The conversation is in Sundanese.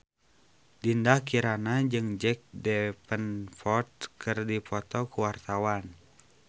Dinda Kirana jeung Jack Davenport keur dipoto ku wartawan